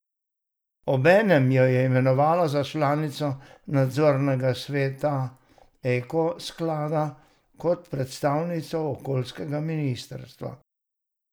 Obenem jo je imenovala za članico nadzornega sveta Eko sklada kot predstavnico okoljskega ministrstva.